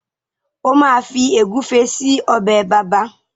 o ma Fi egufe sí Ọbẹ̀ bàbá.